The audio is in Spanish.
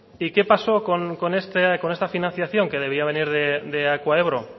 y qué pasó con esta financiación que debía venir de acuaebro